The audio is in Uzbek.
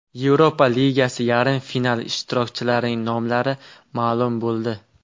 Yevropa ligasi yarim finali ishtirokchilarining nomlari ma’lum bo‘ldi.